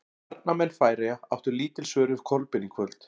Varnarmenn Færeyja áttu lítil svör við Kolbeini í kvöld.